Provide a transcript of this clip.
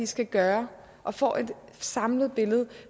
skal gøre og får et samlet billede